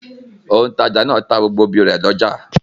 Òǹtajà náà ta gbogbo obì rẹ̀ lọ́jà.